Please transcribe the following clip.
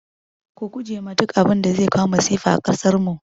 Ku guje ma duk abinda zai kawo masifa a kasarmu